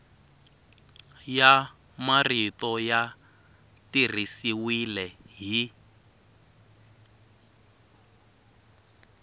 ya marito ya tirhisiwile hi